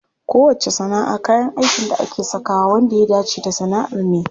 Kowacce sana'a kayan aikin da ake sakawa wanda ya dace da sana'ar ne.